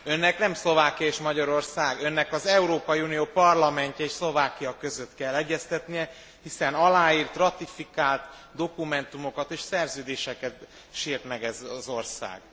Önnek nem Szlovákia és Magyarország, Önnek az Európai Unió parlamentje és Szlovákia között kell egyeztetnie, hiszen aláírt, ratifikált dokumentumokat és szerződéseket sért meg ez az ország.